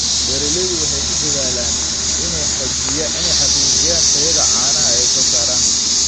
Beeraleydu waxay ku dadaalaan inay xaqiijiyaan tayada caanaha ay soo saaraan.